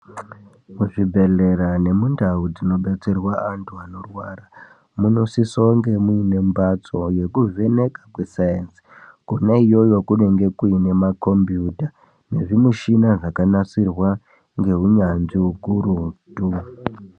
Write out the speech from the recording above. Muzvibhehlera nemundau dzinobetserwa andu anorwara, munosisa kunge mune mbatso yekuvheneka kwescience, kona iyoyo kunonga kuine makombiyuta nezvimishina zvakanasirwa ngeunyanzvi ukuruti.